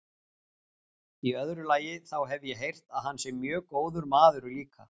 Í öðru lagi, þá hef ég heyrt að hann sé mjög góður maður líka.